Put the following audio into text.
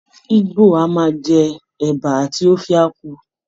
Igbo a máa jẹ Ẹ̀ba àti Ofe Akwu